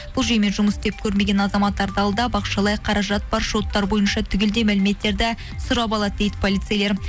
бұл жүйемен жұмыс істеп көрмеген азаматтарды алдап ақшалай қаражат бар шоттары бойынша түгелдей мәліметтерді сұрап алады дейді полицейлер